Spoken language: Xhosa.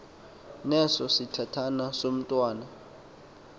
neso sithathana somntwana